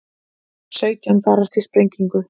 Sautján farast í sprengingu